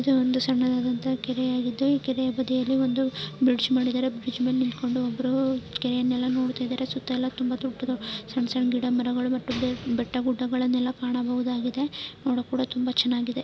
ಇದು ಒಂದು ಸಣ್ಣದಾದಂತಹ ಕೆರೆಯಾಗಿದ್ದು ಕೆರೆಯ ಬದಿಯಲ್ಲಿ ಒಂದು ಬ್ರಿಡ್ಜ್ ಮೇಲೆ ಇದರೆ ಬ್ರಿಡ್ಜ್ ಮೇಲೆ ನಿಂತ್ಕೊಂಡು ಒಬ್ರು ಕೆರೆಯನ್ನೆಲ್ಲ ನೋಡ್ತಾಯಿದಾರೆ ಸುತ್ತ ಎಲ್ಲಾ ತುಂಬಾ ದೊಡ್ಡ ಸಣ್ಣ ಸಣ್ಣ ಗಿಡ ಮರಗಳು ಮತ್ತು ಬೆಟ್ಟ ಗುಡ್ಡಗಳನ್ನೆಲ್ಲ ಕಾಣಬಹುದಾಗಿದೆ ನೋಡೋಕ್ಕೂ ಕೂಡ ತುಂಬಾ ಚೆನ್ನಾಗಿದೆ.